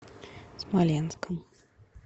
смоленском